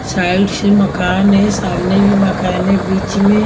side से मकान है सामने भी मकान है बीच में--